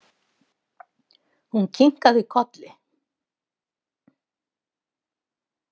Hún kinkaði kolli.